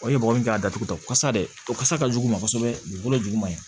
mɔgɔ min k'a datugu kasa dɛ o kasa ka jugu u ma kosɛbɛ dugukolo jugu man ɲi